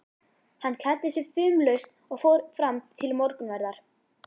Hann klæddi sig fumlaust og fór fram til morgunverðar.